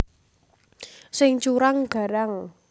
Sing curang garang